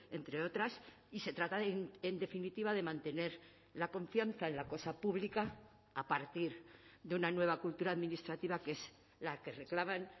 entre otras y se trata en definitiva de mantener la confianza en la cosa pública a partir de una nueva cultura administrativa que es la que reclaman